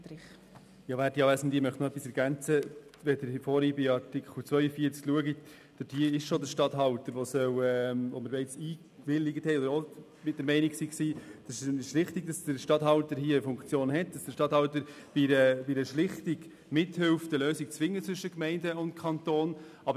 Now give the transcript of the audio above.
Bereits bei Artikel 42 waren wir der Meinung, es sei richtig, dass der Regierungsstatthalter in diesem Bereich eine Funktion hat und dass er bei einer Schlichtung mithilft, eine Lösung zwischen Gemeinden und Kanton zu finden.